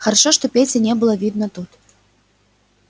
хорошо что пети не было видно тут